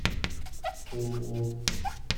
тулу